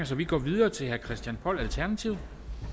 så vi går videre til herre christian poll alternativet